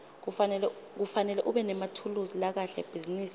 kufanele ubenemathulusi lakahle ebhizinisi